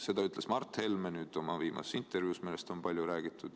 Seda ütles Mart Helme oma viimases intervjuus, millest on palju räägitud.